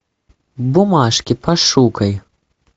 бумажки пошукай